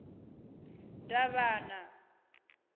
davhana